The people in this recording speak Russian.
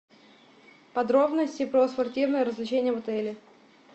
подробности про спортивные развлечения в отеле